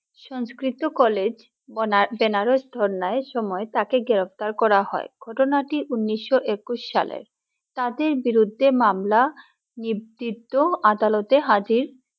সংস্কৃত college বনা Banaras ধর্না সময় তাকে গ্রেপ্তার করা হয় ঘটনাটি উনিশশো একুশ সালের তাদের বিরুদ্ধে মামলা নিদিপ্ত আদালতে হাজির